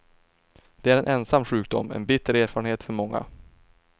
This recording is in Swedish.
Det är en ensam sjukdom, en bitter erfarenhet för många.